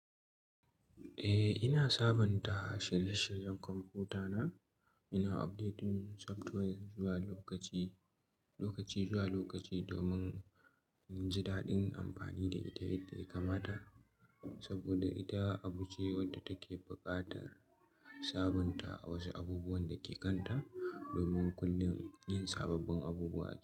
Eh, ina sabunta shirye-shiryen kwamfuta na. Ina updating software zuwa lokaci, lokaci zuwa lokaci domin inji daɗin amfani da ita yadda ya kamata. Saboda ita abu ce wadda take buƙatar sabunta wasu abubuwan da ke kanta domin kullum yin sababbin abubuwa ake.